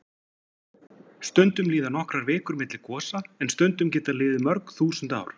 Stundum líða nokkrar vikur milli gosa en stundum geta liðið mörg þúsund ár.